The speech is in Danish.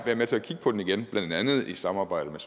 være med til at kigge på det igen blandt andet i samarbejde med